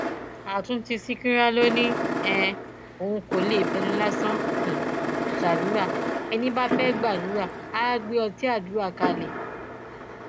àtúntí ṣìkìrà ló ní um òun kò lè fẹnu lásán um ṣàdúrà ẹni bá fẹẹ gbàdúrà àá gbé ọtí àdúrà kalẹ